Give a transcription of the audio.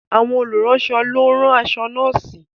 Àwọn olùránṣọ ló ń rán aṣọ nọ́ọ̀sì